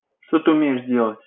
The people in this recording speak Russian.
что ты умеешь делать